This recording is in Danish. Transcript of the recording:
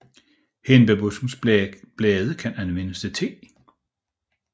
Hindbærbuskens blade kan anvendes til te